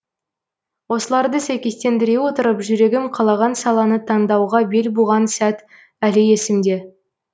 осыларды сәйкестендіре отырып жүрегім қалаған саланы таңдауға бел буған сәт әлі есімде